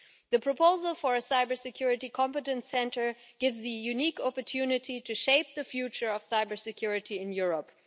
The proposal for a cybersecurity competence centre gives the unique opportunity to shape the future of cybersecurity in Europe.